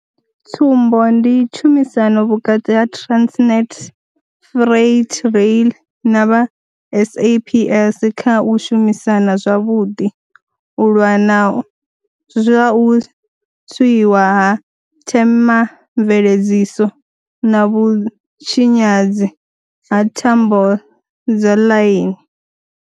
Tsumbo ndi tshumisano vhukati ha Transnet Freight Rail na vha SAPS kha u shumisana zwavhuḓi u lwa na zwa u tswiwa ha themamveledziso na vhutshinyadzi ha thambo dza ḽaini.